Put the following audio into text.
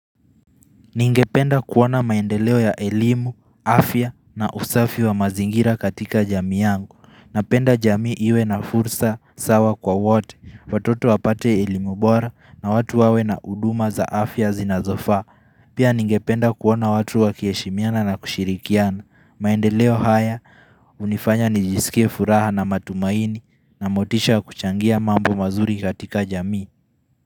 Ningependa kuona maendeleo ya elimu, afya na usafi wa mazingira katika jamii yangu. Napenda jamii iwe na fursa sawa kwa wote. Watoto wapate elimu bora na watu wawe na huduma za afya zinazofaa. Pia ningependa kuona watu wakiheshimiana na kushirikiana. Maendeleo haya hunifanya nijisikie furaha na matumaini na motisha ya kuchangia mambo mazuri katika jamii.